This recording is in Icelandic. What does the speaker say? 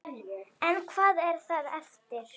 En hvað er þá eftir?